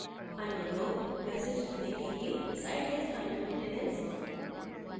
अन्य लोग message देखेंगेsite is under maintenance